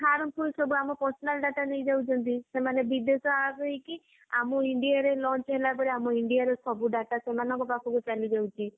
harmful ସବୁ ଆମ personal data ନେଇଯାଉଛନ୍ତି ସେମାନେ ବିଦେଶୀ app ହେଇକି ଆମ india ରେ launch ହେଲାପରେ ଆମ india ର ସବୁ data ସେମାନଙ୍କ ପାଖକୁ ଚାଲିଯାଉଛି